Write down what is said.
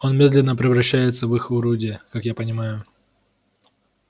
он медленно превращается в их орудие как я понимаю